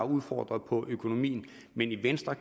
udfordret på økonomien men venstre